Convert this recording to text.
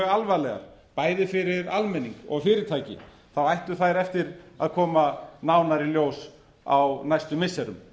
alvarlegar bæði fyrir almenning og fyrirtæki ættu þær eftir að koma nánar í ljós á næstu missirum